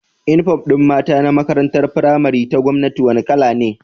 Inufom din mata na makarantar pramari ta gwamnati wani kala ne